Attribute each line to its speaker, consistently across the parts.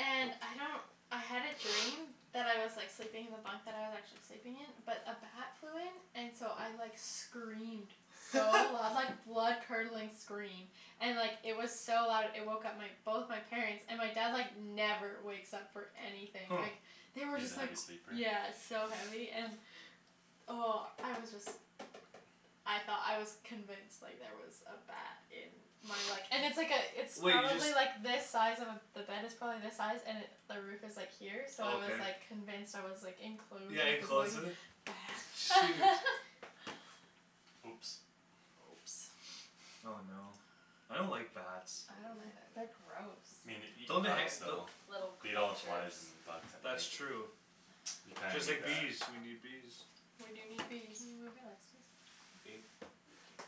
Speaker 1: and I don't I had a dream that I was like sleeping in the bunkbed I was actually sleeping in but a bat flew in and so I like screamed so loud like blood curdling scream and it was like so loud it woke up my both my parents and my dad like never wakes up for anything
Speaker 2: huh
Speaker 1: like they were
Speaker 3: he's a
Speaker 1: just like
Speaker 3: heavy sleeper
Speaker 1: yeah so heavy and oh I was just I thought I was convinced like there was a bat in my like and it's like a it's
Speaker 2: wait you just
Speaker 1: probably like this size of a the bed is probably this size and it the roof is like here so I was
Speaker 2: okay
Speaker 1: like convinced I was like enclosed
Speaker 2: yeah enclosed with
Speaker 1: with the
Speaker 2: it
Speaker 1: ba-
Speaker 2: shoot
Speaker 1: bat
Speaker 3: oops
Speaker 2: oh no I don't like bats
Speaker 1: uh- uh
Speaker 4: they're gross
Speaker 3: me nei-
Speaker 2: don't they han- don-
Speaker 3: though
Speaker 4: little
Speaker 3: beat all
Speaker 4: creatures
Speaker 3: flys and bugs at
Speaker 2: that's
Speaker 3: night
Speaker 2: true
Speaker 3: you kinda
Speaker 2: just
Speaker 3: need
Speaker 2: like bees
Speaker 3: that
Speaker 2: we need bees
Speaker 1: we do need
Speaker 4: can you
Speaker 1: bees
Speaker 4: move your legs please thank you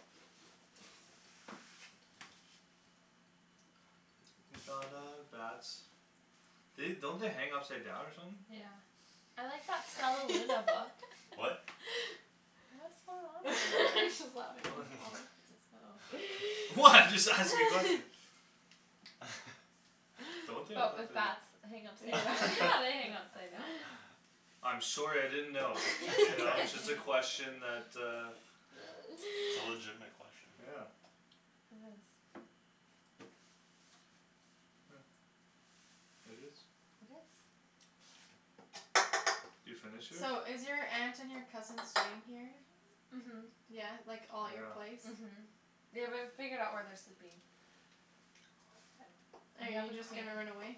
Speaker 2: bats they don't they hang upside down or something
Speaker 4: yeah I like that Stellaluna book
Speaker 3: what
Speaker 4: what's going on over there?
Speaker 2: what
Speaker 4: oh
Speaker 2: what I'm just asking nothing don't they I
Speaker 4: but
Speaker 2: thought
Speaker 4: with
Speaker 2: they
Speaker 4: bats hang upside
Speaker 1: yeah
Speaker 4: down yeah they hang upside down
Speaker 2: I'm sorry I didn't know you
Speaker 4: its
Speaker 2: know it's just a
Speaker 4: okay
Speaker 2: question that uh
Speaker 3: it's a legitimate question
Speaker 2: yeah
Speaker 4: it is
Speaker 2: huh it is
Speaker 4: it is
Speaker 2: you finish it?
Speaker 1: so is your aunt and your cousin staying here then?
Speaker 4: uh-huh
Speaker 1: yeah like all at your
Speaker 2: yeah
Speaker 1: place
Speaker 4: uh-huh they w- haven't figured out where they're sleeping
Speaker 1: are you just gonna run away?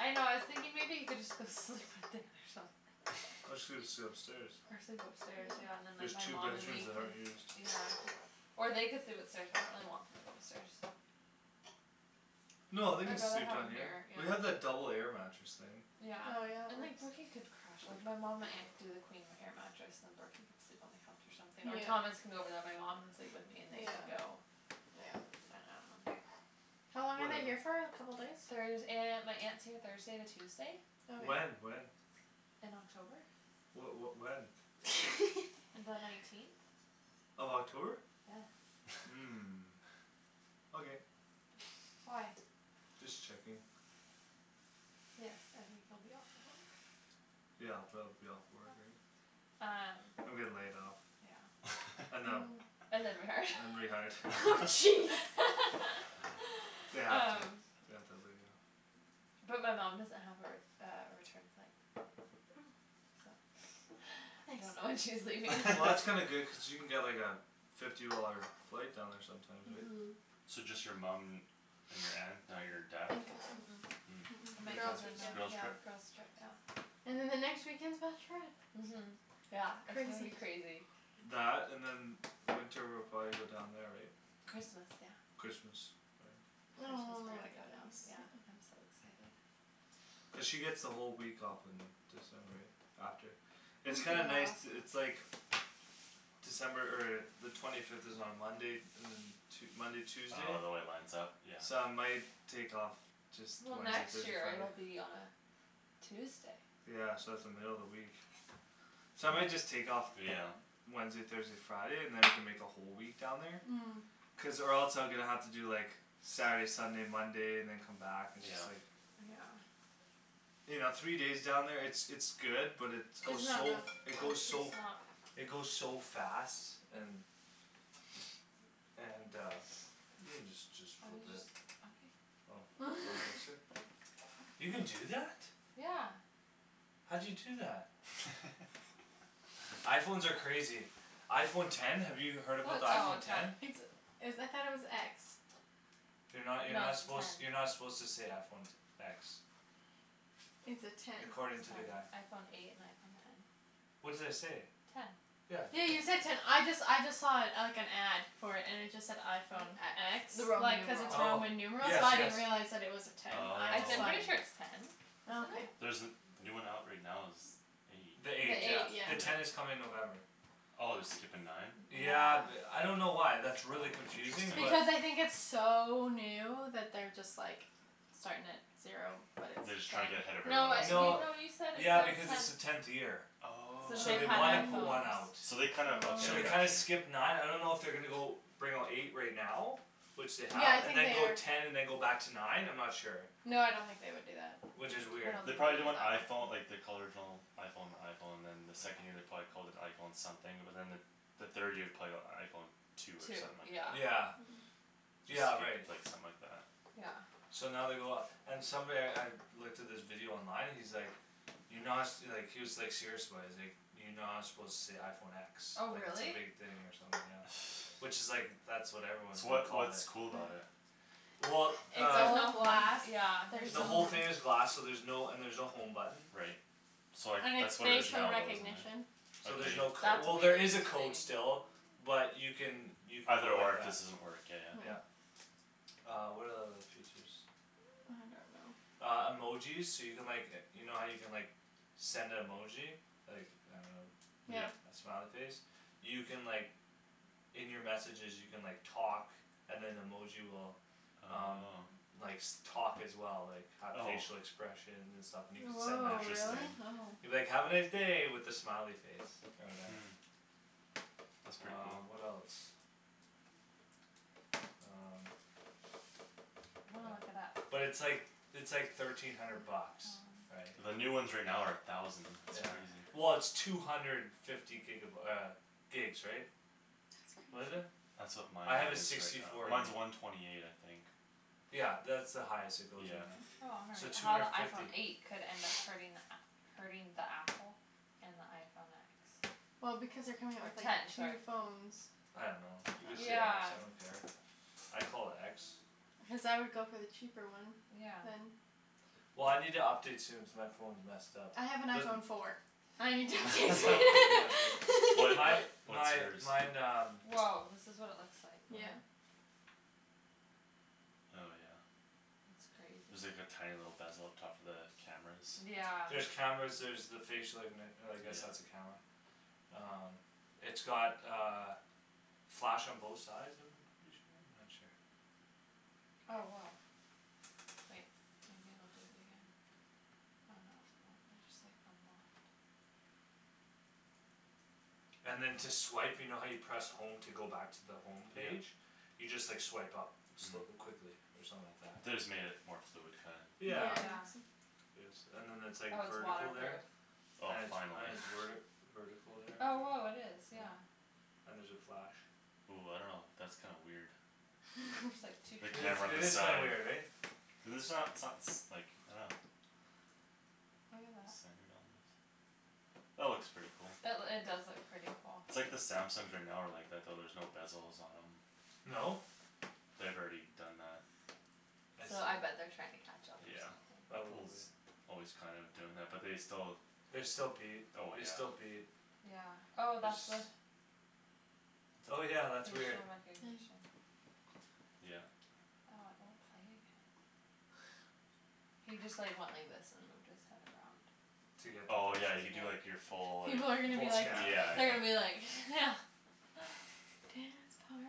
Speaker 4: I know I was thinking maybe he could just go sleep with Dan or something
Speaker 2: Or just sle- sleep upstairs
Speaker 4: or sleep upstairs yeah
Speaker 1: yeah
Speaker 4: and then
Speaker 2: there's
Speaker 4: like my
Speaker 2: two
Speaker 4: mom and
Speaker 2: bedrooms
Speaker 4: me
Speaker 2: that
Speaker 4: can
Speaker 2: aren't used
Speaker 4: yeah or they could sleep upstairs but I really don't want people upstairs
Speaker 2: no they can
Speaker 4: I'd rather
Speaker 2: sleep
Speaker 4: have
Speaker 2: down
Speaker 4: them
Speaker 2: here
Speaker 4: here yeah
Speaker 2: we have that double air mattress thing
Speaker 4: yeah
Speaker 1: oh yeah
Speaker 4: and
Speaker 1: there's
Speaker 4: like Brooky could crash like my mom my aunt could do the queen air mattress and then Brooky could sleep on the couch or something or Thomas
Speaker 1: yeah
Speaker 4: could go over there and my mom could sleep with me and they can
Speaker 1: yeah
Speaker 4: go
Speaker 1: yeah
Speaker 4: I I don't know
Speaker 1: how long are they
Speaker 2: whatever
Speaker 1: here for a couple days?
Speaker 4: Thurs- aunt my aunt's here Thursday to Tuesday
Speaker 2: when
Speaker 1: okay
Speaker 2: when
Speaker 4: in October
Speaker 2: wha- what when
Speaker 4: the nineteenth
Speaker 2: of October
Speaker 4: yes
Speaker 2: huh okay
Speaker 4: why
Speaker 2: just checking
Speaker 4: yes I think you'll be off the
Speaker 2: yeah I'll probably be off work right
Speaker 4: um
Speaker 2: I'm getting laid off
Speaker 4: yeah
Speaker 2: and them
Speaker 1: ooh
Speaker 4: and then rehired
Speaker 2: and rehired
Speaker 1: jeez
Speaker 2: they have to
Speaker 4: um
Speaker 2: they have to lay me off
Speaker 4: but my mom doesn't have her uh a return flight
Speaker 1: oh
Speaker 4: so I don't
Speaker 1: nice
Speaker 4: know when she's leaving
Speaker 2: well that's kinda good cause she can get like a fifty dollar flight down there sometimes right
Speaker 4: uh-huh
Speaker 3: so just your mum and your aunt not your dad
Speaker 4: uh- uh
Speaker 3: huh
Speaker 1: girls'
Speaker 3: it's a
Speaker 1: weekend
Speaker 3: girls'
Speaker 4: yeah
Speaker 3: trip
Speaker 4: girls' trip yeah
Speaker 1: and then the next weekend's bachelorette
Speaker 4: uh-huh yeah it's gonna be
Speaker 1: crazy
Speaker 4: crazy
Speaker 2: that and then winter we'll probably go down there right
Speaker 4: Christmas yeah
Speaker 2: Christmas
Speaker 1: oh
Speaker 4: yeah I'm so excited
Speaker 2: cuz she get's the whole week off in December yeah after
Speaker 4: a
Speaker 2: it's
Speaker 4: week
Speaker 2: kinda
Speaker 4: and a
Speaker 2: nice
Speaker 4: half
Speaker 2: to it's like December er the twenty fifth is on Monday and then Tue- Monday Tuesday
Speaker 3: oh the way it lines up yeah
Speaker 2: so I might take off just
Speaker 4: well
Speaker 2: Wednesday
Speaker 4: next
Speaker 2: Thursday
Speaker 4: year it'll
Speaker 2: Friday
Speaker 4: be on Tuesday
Speaker 2: yeah so its the middle of the week so I might just take off
Speaker 3: yeah
Speaker 2: Wednesday Thursday Friday and then we can make a whole week down there
Speaker 1: hm
Speaker 2: cuz or else I'm gonna have to do like Saturday Sunday Monday and then come back and just
Speaker 3: yeah
Speaker 2: like
Speaker 4: yeah
Speaker 2: you know three days down there it's it's good but its
Speaker 1: it's
Speaker 2: goes
Speaker 1: not
Speaker 2: so f-
Speaker 1: enough
Speaker 2: it goes so it goes so fast and and uh you can just just
Speaker 4: I was just
Speaker 2: flip it
Speaker 4: okay
Speaker 2: oh you can do that?
Speaker 4: yeah
Speaker 2: how'd you do that? iPhones are crazy iPhone ten have you heard about the
Speaker 4: oh
Speaker 2: iPhone
Speaker 4: ten
Speaker 2: ten
Speaker 1: it's is I though it was x
Speaker 2: you're no
Speaker 4: no
Speaker 2: you're not
Speaker 4: its a
Speaker 2: suppose
Speaker 4: ten
Speaker 2: you're not suppose to say iPhone te- x
Speaker 1: its a ten
Speaker 2: according
Speaker 4: ten
Speaker 2: to the guy
Speaker 4: iPhone eight and iPhone ten
Speaker 2: what did I say
Speaker 4: ten
Speaker 2: yeah
Speaker 1: you
Speaker 2: ten
Speaker 1: said ten I just I just saw it like an ad for it and it just said iPhone
Speaker 4: X
Speaker 1: x
Speaker 4: the Roman
Speaker 1: like cuz
Speaker 4: numeral
Speaker 1: its
Speaker 2: oh
Speaker 1: Roman numeral
Speaker 2: yes
Speaker 1: so I
Speaker 2: yes
Speaker 1: didn't realize it was a ten I
Speaker 4: I
Speaker 1: just
Speaker 4: I'm
Speaker 1: thought
Speaker 4: pretty sure
Speaker 1: it
Speaker 4: it's
Speaker 3: oh
Speaker 4: ten
Speaker 1: oh okay
Speaker 4: isn't it
Speaker 3: there's the the new one out right now is eight
Speaker 2: the
Speaker 1: the
Speaker 4: the
Speaker 2: eight
Speaker 4: eight
Speaker 2: yeah
Speaker 1: eight
Speaker 2: the
Speaker 1: yeah
Speaker 4: yeah
Speaker 2: ten
Speaker 3: yeah
Speaker 2: is coming in November
Speaker 3: oh they're skippin nine
Speaker 4: yeah
Speaker 2: yeah th-
Speaker 4: f
Speaker 2: I don't know why that's really
Speaker 3: oh
Speaker 2: confusing but
Speaker 3: interesting
Speaker 1: because I think its so new that they're just like starting at zero but
Speaker 3: they're
Speaker 1: it's
Speaker 3: just
Speaker 1: ten
Speaker 3: trying to get ahead of
Speaker 4: no it- you
Speaker 3: everyone
Speaker 2: no
Speaker 3: else
Speaker 4: no you said
Speaker 2: yeah
Speaker 4: it's
Speaker 2: because its the
Speaker 4: their tenth
Speaker 2: tenth year
Speaker 4: since
Speaker 2: so
Speaker 3: oh
Speaker 4: they've
Speaker 2: they
Speaker 4: had
Speaker 2: wanna
Speaker 1: oh
Speaker 2: put one out
Speaker 4: iPhones
Speaker 3: so they kinda okay
Speaker 2: so
Speaker 3: I
Speaker 2: they kinda
Speaker 3: got
Speaker 1: oh
Speaker 3: you
Speaker 2: skip nine I don't know if they're gonna go bring out eight right now which they
Speaker 1: yeah
Speaker 2: have
Speaker 1: I
Speaker 2: and
Speaker 1: think
Speaker 2: then
Speaker 1: they
Speaker 2: go
Speaker 1: are
Speaker 2: ten and then go back to nine I'm not sure
Speaker 1: no I don't think they would do that
Speaker 2: which is
Speaker 4: I
Speaker 2: weird
Speaker 4: don't
Speaker 3: they
Speaker 4: think
Speaker 3: probably
Speaker 4: they'd
Speaker 3: did
Speaker 4: do
Speaker 3: when
Speaker 4: that
Speaker 3: iPhone like they called the original iPhone the iPhone and then the second year they probably called it iPhone something but then the the third year probably got iPhone two or
Speaker 4: two
Speaker 3: something like that
Speaker 4: yeah
Speaker 2: yeah yeah
Speaker 3: just
Speaker 2: right
Speaker 3: skipped like something like that
Speaker 4: yeah
Speaker 2: so now they go off and somebody I looked at this video online and he's like you're not su- like he was like serious about it he's like you're not suppose to say iPhone x
Speaker 4: oh
Speaker 2: like its a
Speaker 4: really
Speaker 2: big thing or something yeah which is like that's what everyone is
Speaker 3: so
Speaker 2: gonna
Speaker 3: what's
Speaker 2: call it
Speaker 3: what's cool about it?
Speaker 2: well
Speaker 1: it's
Speaker 2: uh
Speaker 1: all glass
Speaker 4: yeah
Speaker 1: there's
Speaker 2: the whole
Speaker 1: no
Speaker 2: thing is glass so there's no and there's no home button
Speaker 3: right so like
Speaker 1: and its
Speaker 3: that's what it is
Speaker 1: facial
Speaker 3: now isn't
Speaker 1: recognition
Speaker 3: it
Speaker 2: so there's
Speaker 3: okay
Speaker 2: no cod-
Speaker 4: that's
Speaker 2: well there
Speaker 4: weird
Speaker 2: is a
Speaker 4: to me
Speaker 2: code still but you can you can go
Speaker 3: either or
Speaker 2: like
Speaker 3: if
Speaker 2: that
Speaker 3: this doesn't work yeah
Speaker 2: yeah
Speaker 3: yeah
Speaker 2: uh what are the other features
Speaker 1: I don't know
Speaker 4: I don't know
Speaker 2: uh emojis so you can like e- you know how you can like send a emoji like I don't
Speaker 1: yeah
Speaker 3: yeah
Speaker 2: know a smiley face you can like In your messages you can like talk and then emoji will um
Speaker 3: oh
Speaker 2: likes talk as well like have
Speaker 3: oh
Speaker 2: facial expressions and stuff and you can send
Speaker 1: woah
Speaker 2: that to them
Speaker 1: really
Speaker 3: interesting
Speaker 1: oh
Speaker 2: you can be like "have a nice day" with a smiley face or whatever
Speaker 3: hm that's pretty
Speaker 2: um
Speaker 3: cool
Speaker 2: what else um
Speaker 4: I'm gonna look it up
Speaker 2: yeah but its like its like thirteen hundred bucks right
Speaker 3: the new ones right now are a thousand
Speaker 2: yeah
Speaker 3: that's crazy
Speaker 2: well its two hundred fifty giga by- uh gigs right
Speaker 1: that's
Speaker 4: that's
Speaker 2: what is
Speaker 4: crazy
Speaker 1: crazy
Speaker 2: it
Speaker 3: that's what mine
Speaker 2: I have a
Speaker 3: is right
Speaker 2: sixty
Speaker 3: now
Speaker 2: four gig
Speaker 3: mine's a one twenty eight I think
Speaker 2: yeah that's the highest it goes right
Speaker 3: yeah
Speaker 2: now so two
Speaker 4: how the
Speaker 2: hundred
Speaker 4: iPhone
Speaker 2: fifty
Speaker 4: eight could end up hurting the app hurting the apple and the iPhone x
Speaker 1: well because they're coming out
Speaker 4: or
Speaker 1: with like
Speaker 4: ten
Speaker 1: two
Speaker 4: sorry
Speaker 1: phones
Speaker 2: I don't know you can say x
Speaker 4: yeah
Speaker 2: I don't care I call it x
Speaker 1: cuz I would go for the cheaper one
Speaker 4: yeah
Speaker 1: then
Speaker 2: well I need to update soon cuz my phone's messed up
Speaker 1: I have an
Speaker 2: there's
Speaker 1: iPhone four I need to update
Speaker 3: well
Speaker 1: soon
Speaker 2: my
Speaker 3: what what's
Speaker 2: my
Speaker 3: yours
Speaker 2: mine um
Speaker 4: woah this is what it looks like
Speaker 2: all
Speaker 1: yeah
Speaker 2: right
Speaker 3: oh yeah
Speaker 4: that's crazy
Speaker 3: there's like a tiny little bezel up top for the cameras
Speaker 4: yeah
Speaker 2: there's cameras there's the facial ignit- uh I guess that's
Speaker 3: yeah
Speaker 2: a camera um it's got uh flash on both sides of them I'm pretty sure I'm not sure
Speaker 4: oh woah wait maybe it'll do it again oh no it won't I just like unlocked
Speaker 2: and then to swipe you know how you press home to go back to the home
Speaker 3: yeah
Speaker 2: page you just like swipe up
Speaker 3: hm
Speaker 2: quickly or something like that
Speaker 3: they just made it more fluid kinda
Speaker 2: yeah
Speaker 1: yeah
Speaker 4: yeah
Speaker 2: yes and then that's like
Speaker 4: oh it's water
Speaker 2: vertical
Speaker 4: proof
Speaker 2: there
Speaker 3: oh
Speaker 2: and it's and
Speaker 3: finally
Speaker 2: it's werti vertical there
Speaker 4: oh
Speaker 2: and
Speaker 4: woah it is
Speaker 2: yeah
Speaker 4: yeah
Speaker 2: and there's a flash
Speaker 3: ooh I don't know that's kinda weird
Speaker 4: there's like two
Speaker 3: the
Speaker 2: it is
Speaker 3: camera on
Speaker 2: it
Speaker 3: the
Speaker 2: is
Speaker 4: cameras
Speaker 2: kinda
Speaker 3: side
Speaker 2: weird eh
Speaker 3: cuz its not so- s like I don't know
Speaker 4: look at that
Speaker 3: centered almost that looks pretty cool
Speaker 4: that loo- it does look pretty cool
Speaker 3: its like the Samsungs are now are like that though there's no bezels on them
Speaker 2: no?
Speaker 3: they've already done that
Speaker 2: I
Speaker 4: so I
Speaker 2: see
Speaker 4: bet they're trying to catch up or
Speaker 3: yeah
Speaker 4: something
Speaker 3: Apple's
Speaker 2: probably
Speaker 3: always kinda doing that but they still
Speaker 2: they still beat
Speaker 3: oh
Speaker 2: they
Speaker 3: yeah
Speaker 2: still beat
Speaker 4: yeah oh
Speaker 2: it's
Speaker 4: that's the
Speaker 2: oh yeah that's weird
Speaker 4: facial recognition
Speaker 3: yeah
Speaker 4: oh it won't play again he just like went like this and moved his head around
Speaker 2: to get
Speaker 3: oh yeah
Speaker 2: the
Speaker 3: you do like your full like
Speaker 1: people are gonna be
Speaker 2: full
Speaker 1: like
Speaker 2: scan or
Speaker 3: yeah
Speaker 4: they're
Speaker 3: yeah
Speaker 4: gonna
Speaker 2: whatever
Speaker 4: be like yeah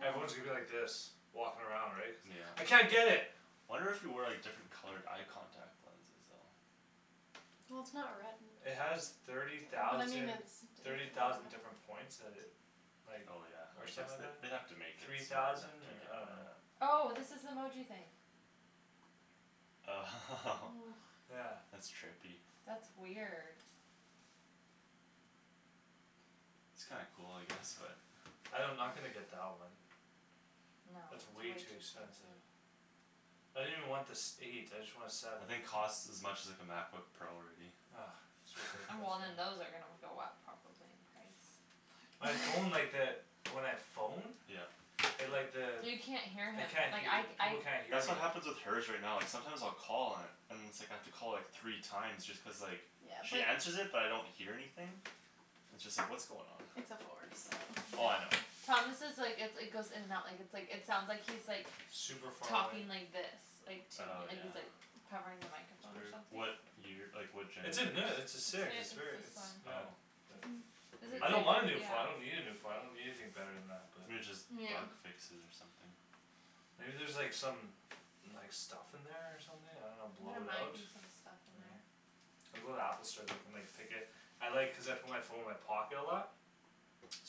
Speaker 4: dance party
Speaker 2: everyone's gonna be like this walking around right cuz I
Speaker 3: yeah
Speaker 2: can't get it
Speaker 3: wonder if you wear like different colored eye contact lenses though
Speaker 2: it has thirty thousand thirty thousand different points that it like
Speaker 3: oh yeah
Speaker 2: or
Speaker 3: I guess
Speaker 2: something like
Speaker 3: they
Speaker 2: that
Speaker 3: they'd have to make it
Speaker 2: three
Speaker 3: smarter
Speaker 2: thousand
Speaker 3: to
Speaker 2: or
Speaker 3: get
Speaker 2: I don't
Speaker 3: that
Speaker 2: know
Speaker 4: oh this is the emoji thing
Speaker 3: oh
Speaker 2: yeah
Speaker 3: that's trippy
Speaker 4: that's weird
Speaker 3: it's kinda cool I guess but
Speaker 2: I don- I'm not gonna get that one
Speaker 4: no it's
Speaker 2: it's
Speaker 4: way
Speaker 2: way too
Speaker 4: too
Speaker 2: expensive
Speaker 4: expensive
Speaker 2: I didn't even want the sev- eight I just want a seven
Speaker 3: I think costs as much as like a MacBook Pro already
Speaker 2: ah it's
Speaker 4: and
Speaker 2: ridiculous
Speaker 4: well
Speaker 2: man
Speaker 4: then those are gonna go up probably in price
Speaker 2: my phone like that when I phone
Speaker 3: yeah
Speaker 2: it like the
Speaker 4: you can't hear
Speaker 2: I
Speaker 4: him
Speaker 2: can't
Speaker 4: like
Speaker 2: hea-
Speaker 4: I
Speaker 2: people
Speaker 4: I
Speaker 2: can't hear
Speaker 3: that's
Speaker 2: me
Speaker 3: what happens with her's right now like sometimes I'll call and and it's like I have to call like three time just cuz like she answers it but I don't hear anything it's just like what's going on
Speaker 1: it's a four so
Speaker 3: oh I know
Speaker 4: yeah Thomas' like it its goes in and out like its like it sounds like he's
Speaker 2: super far away
Speaker 4: talking like this like to me
Speaker 3: oh
Speaker 4: like
Speaker 3: yeah
Speaker 4: he's like covering the
Speaker 2: it's
Speaker 4: microphone or
Speaker 2: weird
Speaker 4: something
Speaker 3: what year like what genera-
Speaker 2: its a ne- its
Speaker 4: its
Speaker 2: a
Speaker 4: h-
Speaker 2: six
Speaker 4: it's
Speaker 2: its very
Speaker 4: this
Speaker 2: its
Speaker 4: one
Speaker 2: yeah
Speaker 3: oh
Speaker 2: but
Speaker 1: hm
Speaker 2: I
Speaker 3: weir-
Speaker 2: don't wanna a new phone I don't
Speaker 4: yeah
Speaker 2: need a phone I don't need anything bette than that but
Speaker 3: maybe just
Speaker 1: yeah
Speaker 3: bug fixes or something
Speaker 2: maybe there's like some like some stuff in there or something I don't know blow
Speaker 4: there
Speaker 2: it out
Speaker 4: might be some stuff in
Speaker 2: I know
Speaker 4: there
Speaker 2: I'll go to the Apple store they can like pick it I like cuz I put my phone in my pocket a lot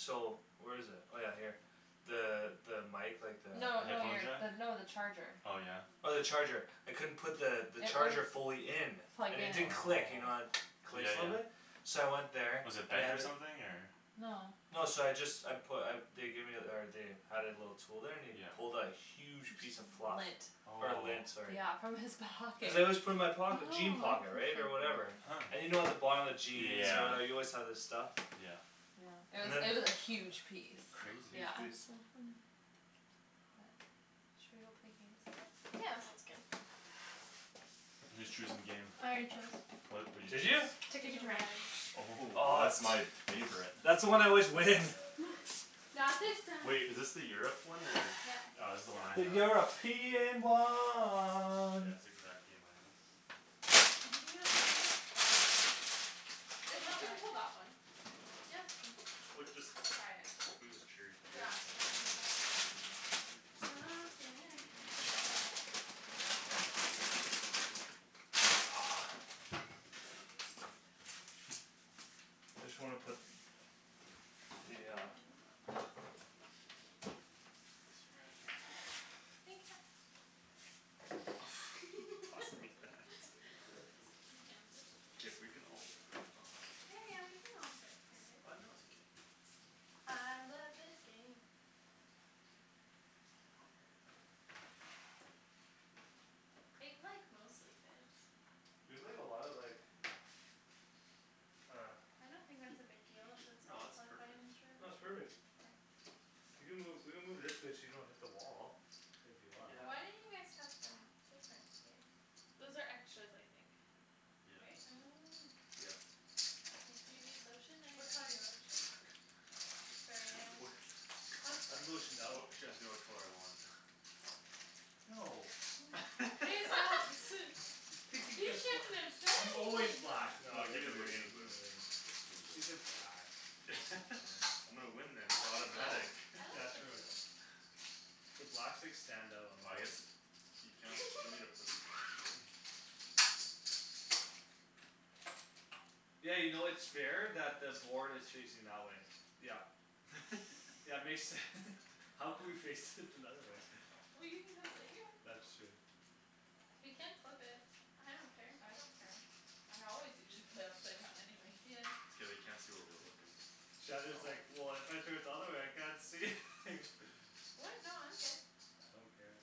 Speaker 2: so where's it oh yeah here the the mic like the
Speaker 4: no no
Speaker 3: headphone
Speaker 4: you're
Speaker 3: jack
Speaker 4: no the charger
Speaker 3: oh yeah
Speaker 2: oh the charger I couldn't put the
Speaker 4: it
Speaker 2: charger
Speaker 4: wouldn't
Speaker 2: fully in
Speaker 4: plug
Speaker 2: and it
Speaker 4: in
Speaker 2: didn't click you know the it
Speaker 3: oh yeah
Speaker 2: clicks a little
Speaker 3: yeah
Speaker 2: bit so I went there
Speaker 3: was it
Speaker 2: and they
Speaker 3: bent
Speaker 2: had
Speaker 3: or
Speaker 2: th-
Speaker 3: something or
Speaker 4: no
Speaker 2: no so I just I put uh they gave ther- or they had it a little tool there and he
Speaker 3: yeah
Speaker 2: pulled a huge piece
Speaker 4: p-
Speaker 2: of fluff
Speaker 4: lint
Speaker 2: or lint
Speaker 3: oh
Speaker 2: sorry
Speaker 4: yeah from his pocket
Speaker 2: cuz I always put it in my
Speaker 1: oh
Speaker 2: pocket jean pocket right or
Speaker 1: interesting
Speaker 2: whatever
Speaker 3: huh
Speaker 2: and you know at the bottom of jeans or
Speaker 3: yeah
Speaker 2: whatever you always have this stuff
Speaker 3: yeah
Speaker 4: yeah it
Speaker 2: and
Speaker 4: was
Speaker 2: then
Speaker 4: it was a huge piece
Speaker 3: crazy
Speaker 4: yeah
Speaker 1: that's so funny
Speaker 4: but should we go play games now
Speaker 1: yeah that sounds good
Speaker 3: who's choosing game?
Speaker 1: I already chose
Speaker 3: what what'd you
Speaker 2: did you
Speaker 3: choose
Speaker 1: Ticket
Speaker 4: Ticket
Speaker 1: to
Speaker 4: to
Speaker 1: Ride
Speaker 4: Ride
Speaker 3: oh
Speaker 2: oh that's
Speaker 3: that's
Speaker 2: my
Speaker 3: my favorite
Speaker 2: that's the one I always win
Speaker 1: not this time
Speaker 3: wait is this the Europe one or
Speaker 1: yep
Speaker 3: ah this's the one I have yeah it's exact game I have
Speaker 1: do you think it'll fit on here?
Speaker 3: oh yeah
Speaker 4: if
Speaker 1: we'll
Speaker 4: not we
Speaker 1: try
Speaker 4: can
Speaker 1: it
Speaker 4: pull that one
Speaker 1: yeah it's true
Speaker 3: we cu- just
Speaker 4: we'll try it
Speaker 3: move this chair here
Speaker 4: yeah
Speaker 3: or
Speaker 4: we
Speaker 3: something
Speaker 4: can
Speaker 3: and then
Speaker 4: move that chair and then
Speaker 3: they'll be worse days than
Speaker 1: pumpkin
Speaker 2: ah I just wanna put the
Speaker 1: hi
Speaker 2: uh
Speaker 1: honey
Speaker 3: oh I don't have much space here
Speaker 1: I love you think fast
Speaker 3: you tossing me that
Speaker 4: it also makes my hands are so
Speaker 3: if we
Speaker 4: dry
Speaker 3: can all
Speaker 1: yeah yeah we can all fit here
Speaker 3: ah
Speaker 1: babe
Speaker 3: no it's okay
Speaker 1: I love this game it like mostly fits
Speaker 2: we played a lot of like uh
Speaker 1: I don't think that's a big deal if its
Speaker 3: no
Speaker 1: all
Speaker 3: it's perfect
Speaker 2: no its perfect you can move you can move this way so you don't hit the wall if you want
Speaker 1: why
Speaker 3: yeah
Speaker 1: don't you guys tucked in different here
Speaker 4: those are extras I think
Speaker 3: yeah
Speaker 4: right
Speaker 1: oh
Speaker 3: yeah
Speaker 1: makes
Speaker 4: do you need
Speaker 1: sense
Speaker 4: lotion
Speaker 1: which
Speaker 4: anybody
Speaker 1: color do you
Speaker 4: need
Speaker 1: want?
Speaker 4: lotion?
Speaker 3: uch
Speaker 1: sorry I'm
Speaker 3: wha-
Speaker 1: just
Speaker 2: I'm lotioned
Speaker 3: wh-
Speaker 2: out
Speaker 3: what she asked me what color I want
Speaker 2: no
Speaker 1: you shouldn't have said
Speaker 2: I'm always
Speaker 1: anything
Speaker 2: black naw I
Speaker 3: you
Speaker 2: got
Speaker 3: gimme
Speaker 2: the
Speaker 3: the blue
Speaker 2: green
Speaker 3: gimme the blue
Speaker 2: take the black I'll take blue
Speaker 3: I'm gonna win this
Speaker 4: I
Speaker 3: it's
Speaker 4: like the blue
Speaker 3: automatic
Speaker 2: oh
Speaker 4: I
Speaker 2: yeah
Speaker 4: like the
Speaker 2: true
Speaker 4: blue
Speaker 2: the blacks like stand out on
Speaker 3: ah
Speaker 2: the
Speaker 3: I
Speaker 2: board
Speaker 3: guess you can- you don't need to put these on there don't worry
Speaker 2: yeah you know its fair that the board is facing that way yup yeah makes sense How could we fix it another way
Speaker 4: well you can come sit here
Speaker 2: that's true
Speaker 1: we can flip it I don't care
Speaker 4: I don't care I always usually play upside down anyways
Speaker 1: yeah
Speaker 3: it's okay they can't see where we're looking
Speaker 2: Shandryn is like well if I turn it the other way I can't see
Speaker 1: what no I'm good
Speaker 2: I don't care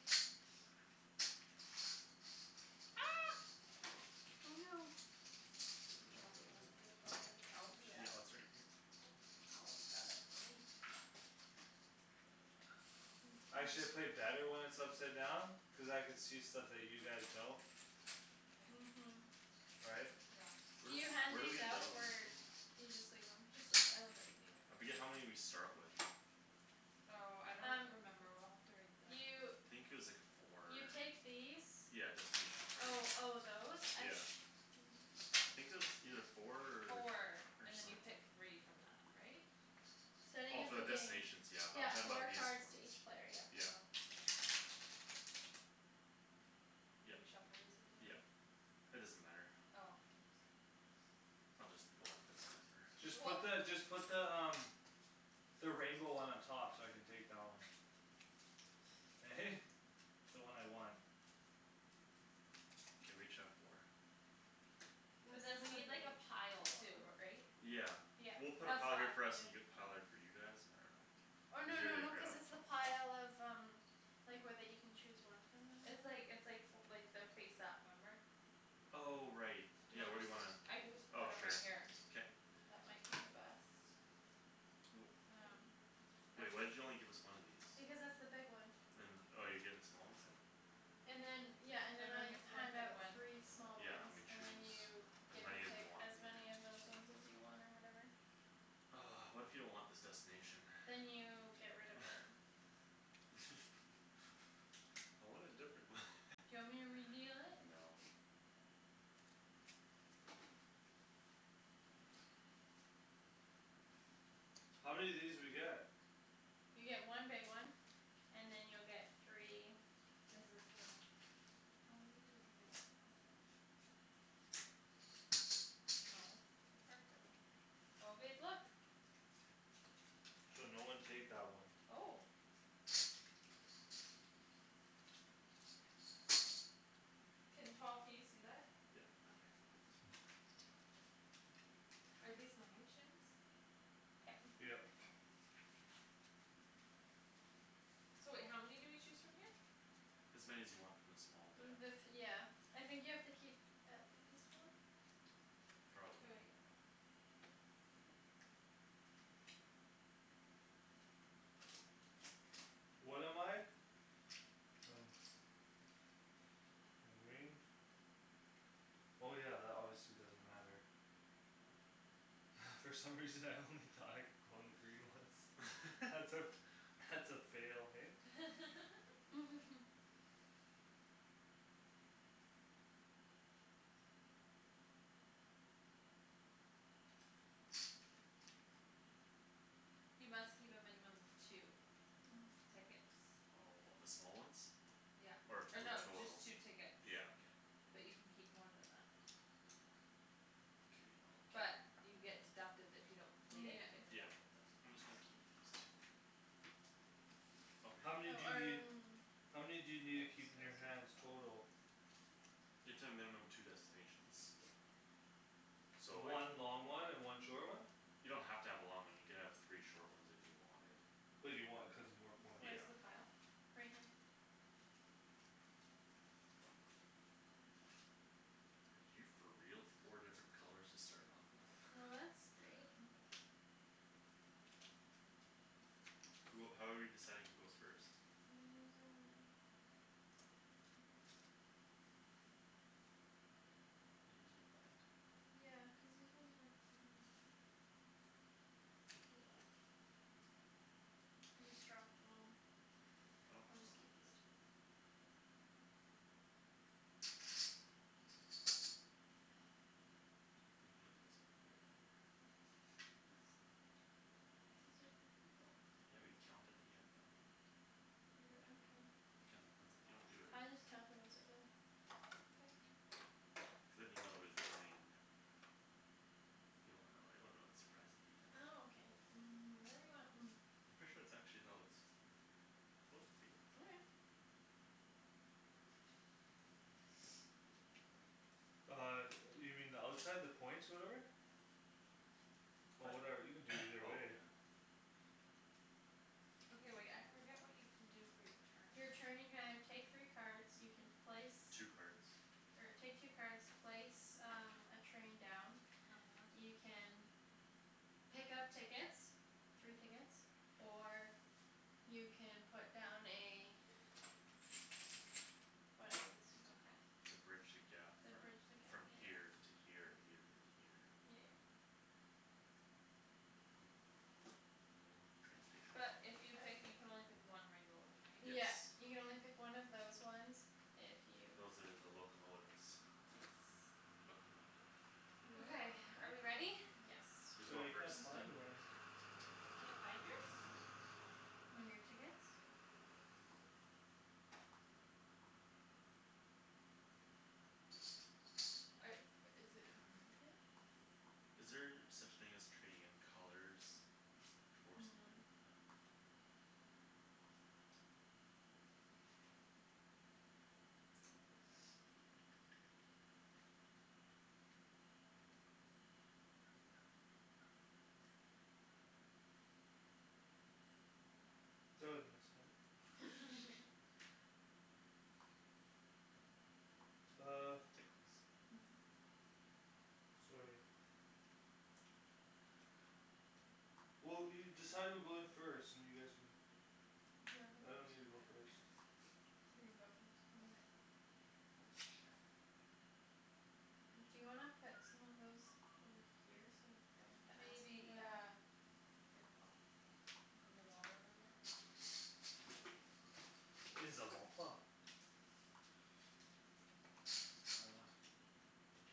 Speaker 4: ah
Speaker 1: oh no
Speaker 3: oh I
Speaker 4: I
Speaker 3: don't
Speaker 4: dropped
Speaker 3: know where it
Speaker 4: one
Speaker 3: went
Speaker 4: did it go under the couch
Speaker 3: yeah it's
Speaker 1: yeah
Speaker 3: right here
Speaker 1: Paul's got it right
Speaker 2: Actually I play better when it's upside down cuz I could see stuff that you guys don't
Speaker 1: uh-
Speaker 4: okay
Speaker 1: hm
Speaker 2: right
Speaker 4: yeah
Speaker 3: where
Speaker 1: can you
Speaker 3: d-
Speaker 1: hand
Speaker 3: where do
Speaker 1: these
Speaker 3: we lay
Speaker 1: out
Speaker 3: these
Speaker 1: or
Speaker 3: again
Speaker 1: you just leave them
Speaker 4: just leave I don't think we need them
Speaker 3: I
Speaker 4: right
Speaker 3: forget how
Speaker 4: now
Speaker 3: many we start with
Speaker 4: oh I don't
Speaker 1: um
Speaker 4: remember we'll have to read
Speaker 1: you
Speaker 3: I
Speaker 4: the
Speaker 3: think it was like four or
Speaker 1: you take these
Speaker 3: yeah destination
Speaker 1: oh
Speaker 3: cards
Speaker 1: oh those I
Speaker 3: yeah
Speaker 1: se-
Speaker 3: I think it was either four
Speaker 4: four
Speaker 3: or
Speaker 4: and then
Speaker 3: some-
Speaker 4: you pick three from that right?
Speaker 1: starting
Speaker 3: oh
Speaker 1: of
Speaker 3: for
Speaker 1: the
Speaker 3: the
Speaker 1: game
Speaker 3: destination yeah but I'm
Speaker 1: yeah
Speaker 3: talking
Speaker 1: four
Speaker 3: about these
Speaker 1: cards to
Speaker 3: ones
Speaker 1: each player yep
Speaker 3: yeah
Speaker 4: oh did
Speaker 3: yep
Speaker 4: you shuffle these ones
Speaker 3: yep
Speaker 4: already?
Speaker 3: it doesn't matter
Speaker 4: oh oops
Speaker 3: I'll just go like this whatever
Speaker 2: just put
Speaker 4: weh
Speaker 2: the just put the um the rainbow one on top so I can take that one eh the one I want
Speaker 3: okay we each have four
Speaker 4: but then
Speaker 1: this
Speaker 4: we need like
Speaker 1: is
Speaker 4: a
Speaker 1: the
Speaker 4: pile too
Speaker 1: big
Speaker 4: ri- right
Speaker 1: one
Speaker 3: yeah we'll put a
Speaker 1: oh
Speaker 3: pile
Speaker 1: five
Speaker 3: here for us and you have
Speaker 1: yeah
Speaker 3: a pile there for you guys I don't know
Speaker 1: or no
Speaker 3: easier
Speaker 1: no
Speaker 3: to
Speaker 1: no cuz
Speaker 3: grab
Speaker 1: it's the pile of um like where that you can chose one from or
Speaker 4: it's
Speaker 1: whatever
Speaker 4: like it's like fo like their face up remember
Speaker 3: oh right
Speaker 4: do you
Speaker 3: yeah where do
Speaker 4: underst-
Speaker 3: you wanna
Speaker 4: I can just
Speaker 3: oh
Speaker 4: put them right
Speaker 3: sure
Speaker 4: here
Speaker 3: k
Speaker 4: that might be the best
Speaker 3: wh-
Speaker 1: um
Speaker 4: are
Speaker 3: wait why'd
Speaker 4: these
Speaker 3: you only give us one of these
Speaker 1: because that's the big one
Speaker 3: and oh you're getting the small ones then
Speaker 1: and then yeah and then I
Speaker 4: everyone gets one
Speaker 1: hand
Speaker 4: big
Speaker 1: out
Speaker 4: one
Speaker 1: three small
Speaker 3: yeah and than
Speaker 1: ones
Speaker 3: we
Speaker 1: and then
Speaker 3: choose
Speaker 1: you
Speaker 3: as
Speaker 1: get to
Speaker 3: many as we
Speaker 1: pick
Speaker 3: want
Speaker 1: as
Speaker 3: from there
Speaker 1: many of those ones as you want or whatever
Speaker 3: what if you don't want this destination
Speaker 1: then you get rid of it
Speaker 3: I want a different one
Speaker 1: do you want me to redeal it?
Speaker 3: no
Speaker 2: how many of these do we get?
Speaker 1: you get one big one and then you'll get three
Speaker 4: is this the how many do we do no the cards are going here oh babe look
Speaker 2: so no one take that one
Speaker 4: oh can Paul can you see that?
Speaker 3: yep
Speaker 4: okay are these mine Shans
Speaker 1: yep
Speaker 2: yep
Speaker 4: okay so wait how many do we choose from here?
Speaker 3: as many as you want from the small deck
Speaker 1: the th- yeah I think you have to keep at least one
Speaker 4: k
Speaker 3: probably
Speaker 4: wait
Speaker 2: what am I? I don't I'm green oh yeah that obviously doesn't matter from some reason I only thought I could go on the green ones that's a that's a fail hey
Speaker 4: you must keep a minimum of two
Speaker 1: oh
Speaker 4: tickets
Speaker 3: oh of the small ones
Speaker 4: yeah
Speaker 3: or
Speaker 4: or
Speaker 3: two
Speaker 4: no just
Speaker 3: total
Speaker 4: two tickets
Speaker 3: yeah okay
Speaker 4: but you can keep more than that
Speaker 3: k I'll keep
Speaker 4: but you get deducted if you don't complete it you
Speaker 1: yeah
Speaker 4: get
Speaker 3: yeah
Speaker 4: deducted those
Speaker 3: I'm
Speaker 4: points
Speaker 3: just gonna keep these two oh
Speaker 2: how
Speaker 3: here
Speaker 1: oh
Speaker 2: many do you need
Speaker 1: um
Speaker 2: how many do you need to keep in your hands total?
Speaker 3: you have to have a minimum two destinations so like
Speaker 2: one long one and one short one
Speaker 3: you don't have to have a long one you can have three short ones if you wanted
Speaker 2: but you want it cuz its more points
Speaker 4: where's
Speaker 3: yeah
Speaker 4: the pile?
Speaker 1: right here
Speaker 3: are you for real four different colors to start off with
Speaker 1: well that's great
Speaker 2: who how are we deciding who goes first
Speaker 1: I'm losing my
Speaker 3: are you losing your mind
Speaker 1: yeah cuz these ones weren't mine oh well I just dropped them all
Speaker 3: I don't
Speaker 1: I'll just
Speaker 3: oh
Speaker 1: keep these two ah dang
Speaker 3: I don't think
Speaker 1: it
Speaker 3: we need this on the board either
Speaker 1: this
Speaker 3: no
Speaker 1: these are the people
Speaker 3: yeah we count at the end though
Speaker 1: you're
Speaker 3: you count the points at you don't do it
Speaker 1: I just count them as I go okay
Speaker 3: cuz than you know who's winning and you don't wanna know you wanna know the surprise at the end
Speaker 1: ah ok um whatever you want
Speaker 3: I'm pretty sure that's actually how it suppose to be
Speaker 1: okay
Speaker 2: uh yo- you mean the outside the points whatever oh
Speaker 3: what
Speaker 2: whatever you can do either
Speaker 3: oh
Speaker 2: way
Speaker 3: yeah
Speaker 4: okay wait I forget what you can do for your
Speaker 1: you're
Speaker 4: turn
Speaker 1: turn you can either take three cards you can place
Speaker 3: two cards
Speaker 1: or take two cards place um a train down
Speaker 4: uh-huh
Speaker 1: you can pick up tickets three tickets or you can put down a whatever these things are
Speaker 4: okay
Speaker 1: called
Speaker 3: to bridge the gap
Speaker 1: the
Speaker 3: from
Speaker 1: bridge the gap
Speaker 3: from
Speaker 1: yeah yeah
Speaker 3: here to here or here to here
Speaker 1: yeah yeah
Speaker 3: yeah a little train station
Speaker 4: but if you pick you can only pick one rainbow one right?
Speaker 3: yes
Speaker 1: yeah you can only pick one of those ones if you
Speaker 3: those are the locomotives
Speaker 1: yes
Speaker 3: locomotive
Speaker 4: okay are we ready
Speaker 1: locomotive yes
Speaker 3: who's going
Speaker 1: who's
Speaker 2: I
Speaker 3: first
Speaker 2: can't
Speaker 1: going
Speaker 2: find
Speaker 1: first?
Speaker 2: one
Speaker 4: you can't find yours? are i- is it behind it?
Speaker 3: is there such thing as trading in colors? for something
Speaker 1: no
Speaker 3: no okay
Speaker 2: that was my stomach oh
Speaker 3: tickles
Speaker 2: sorry well you decide who goes first and you guys can
Speaker 1: do you
Speaker 2: I don't need to
Speaker 1: wanna go
Speaker 2: go
Speaker 4: I
Speaker 1: first
Speaker 4: don't
Speaker 2: first
Speaker 4: care
Speaker 1: you can go first
Speaker 4: okay sure
Speaker 1: do you wanna put some of those over here so we don't have to
Speaker 4: maybe
Speaker 1: ask you
Speaker 4: yeah
Speaker 1: to
Speaker 4: here Paul like in the water over there
Speaker 2: uh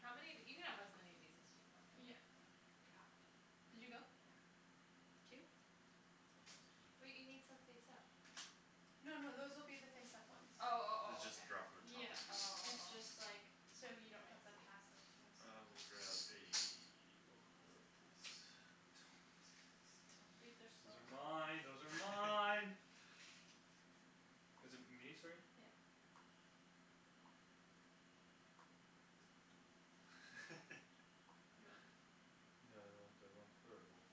Speaker 4: how many of you can have as many of these as you want
Speaker 1: yeah
Speaker 4: right you have to
Speaker 1: did you go
Speaker 4: yeah
Speaker 1: two
Speaker 4: wait you need some face up
Speaker 1: no no those will be the face up ones
Speaker 4: oh oh
Speaker 3: you
Speaker 4: oh okay
Speaker 3: just draw from the top
Speaker 1: yeah
Speaker 3: if you wan-
Speaker 4: oh
Speaker 1: it's
Speaker 4: oh
Speaker 1: just
Speaker 4: oh
Speaker 1: like so you
Speaker 4: I
Speaker 1: don't have to
Speaker 4: see
Speaker 1: pass them to us
Speaker 3: I will grab a locomotive please
Speaker 2: those are mine those are mine is it me sorry?
Speaker 1: yeah you want
Speaker 2: no I want I want purple